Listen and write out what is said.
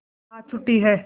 आज छुट्टी है